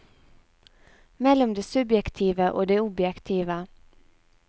Mellom det subjektive og det objektive.